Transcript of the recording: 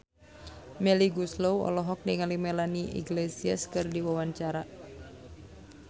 Melly Goeslaw olohok ningali Melanie Iglesias keur diwawancara